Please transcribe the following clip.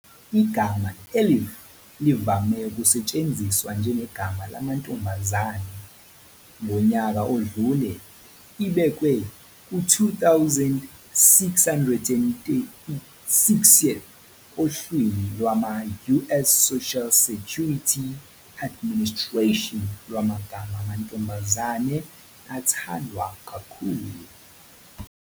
Igama Elif livame ukusetshenziswa njengegama lamantombazane. Ngonyaka odlule ibekwe ku-2,636th ohlwini lwama-US Social Security Administration lwamagama amantombazane athandwa kakhulu.